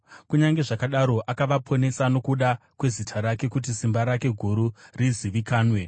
Kunyange zvakadaro akavaponesa nokuda kwezita rake, kuti simba rake guru rizivikanwe.